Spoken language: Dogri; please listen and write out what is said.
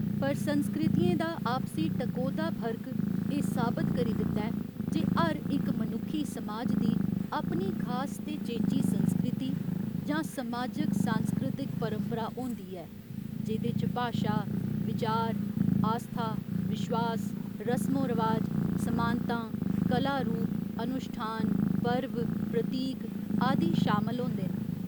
पर संस्कृतियें दा आपसी टकोह्दा फर्क एह् साबत करी दिंदा ऐ जे हर इक मनुक्खी समाज दी अपनी खास ते चेची संस्कृति जां समाजिक सांस्कृतिक परपंरा होंदी ऐ जेह्‌दे च भाशा, विचार, आस्था विश्वास, रसमो रवाज, समानतां, कला रूप, अनुश्ठान, पर्व, प्रतीक आदि शामल होंदे न।